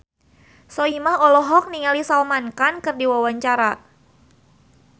Soimah olohok ningali Salman Khan keur diwawancara